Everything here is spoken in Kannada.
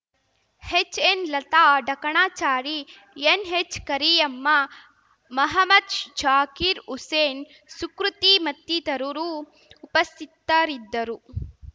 ಹೆಚ್ಎನ್ಲತಾ ಡಕಣಾಚಾರಿ ಎನ್ಹೆಚ್ಕರಿಯಮ್ಮ ಮಹಮದ್ ಜಾಕೀರ್ ಹುಸೇನ್ ಸುಕೃತಿ ಮತ್ತಿತರುರು ಉಪಸ್ಥಿತ್ತರಿದ್ದರು